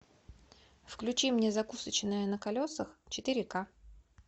включи мне закусочная на колесах четыре ка